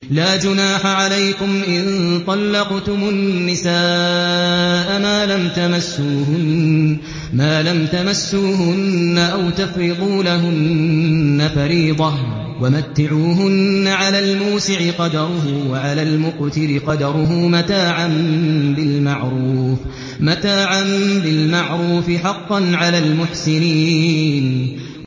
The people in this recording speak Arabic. لَّا جُنَاحَ عَلَيْكُمْ إِن طَلَّقْتُمُ النِّسَاءَ مَا لَمْ تَمَسُّوهُنَّ أَوْ تَفْرِضُوا لَهُنَّ فَرِيضَةً ۚ وَمَتِّعُوهُنَّ عَلَى الْمُوسِعِ قَدَرُهُ وَعَلَى الْمُقْتِرِ قَدَرُهُ مَتَاعًا بِالْمَعْرُوفِ ۖ حَقًّا عَلَى الْمُحْسِنِينَ